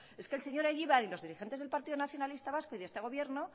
es que el señor egibar y los dirigentes del partido nacionalista vasco y de este gobierno